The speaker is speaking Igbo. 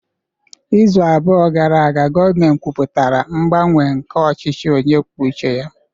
Izu abụọ gara aga, gọọmentị kwupụtara ngbanwe nke ọchịchị onye kwuo uche ya